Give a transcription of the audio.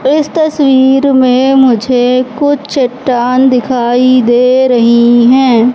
इस तस्वीर में मुझे कुछ चट्टान दिखाई दे रही है।